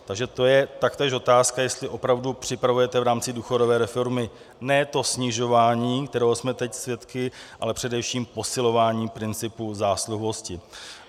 Takže to je taktéž otázka, jestli opravdu připravujete v rámci důchodové reformy ne to snižování, kterého jsme teď svědky, ale především posilování principu zásluhovosti.